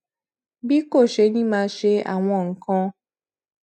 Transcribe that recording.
bí kò ṣe ní máa ṣe àwọn nǹkan